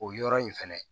O yɔrɔ in fɛnɛ